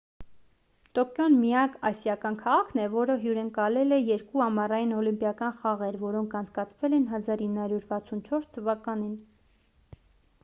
տոկիոն միակ ասիական քաղաքն է որը հյուրընկալել է երկու ամառային օլիմպիական խաղեր որոնք անցկացվել են 1964 թվականին